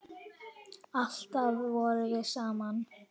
Alltaf vorum við saman.